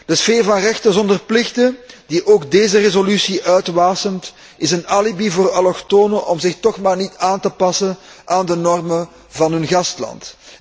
De sfeer van rechten zonder plichten, die ook deze resolutie uitwasemt, is een alibi voor allochtonen om zich toch maar niet aan te passen aan de normen van hun gastland.